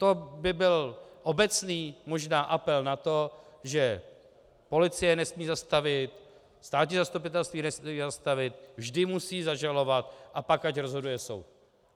To by byl obecný možná apel na to, že policie nesmí zastavit, státní zastupitelství nesmí zastavit, vždy musí zažalovat, a pak ať rozhoduje soud.